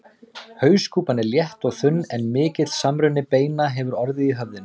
Hauskúpan er létt og þunn en mikill samruni beina hefur orðið í höfðinu.